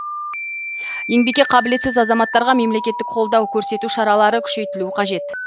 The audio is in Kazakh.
еңбекке қабілетсіз азаматтарға мемлекеттік қолдау көрсету шаралары күшейтілу қажет